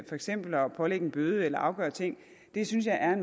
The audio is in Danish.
for eksempel at pålægge en bøde eller afgøre ting synes jeg er